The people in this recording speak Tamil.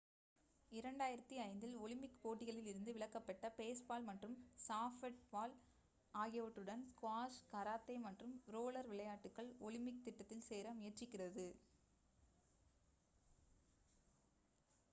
2005 இல் ஒலிம்பிக் போட்டிகளில் இருந்து விலக்கப்பட்ட பேஸ்பால் மற்றும் சாஃப்ட்பால் ஆகியவற்றுடன் ஸ்குவாஷ் கராத்தே மற்றும் ரோலர் விளையாட்டுகள் ஒலிம்பிக் திட்டத்தில் சேர முயற்சிக்கிறது